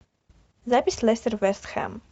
запись лестер вест хэм